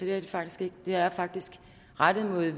det er det faktisk ikke det er faktisk rettet mod